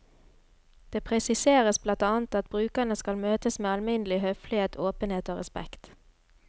Det presiseres blant annet at brukerne skal møtes med alminnelig høflighet, åpenhet og respekt.